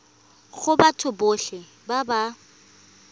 go batho botlhe ba ba